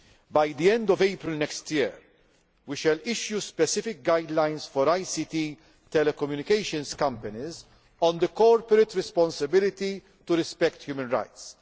By the end of April next year, we shall issue specific guidelines for ICT telecommunications companies on the corporate responsibility to respect human rights.